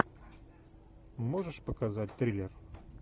можешь показать триллер